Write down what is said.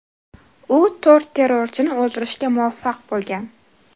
U to‘rt terrorchini o‘ldirishga muvaffaq bo‘lgan.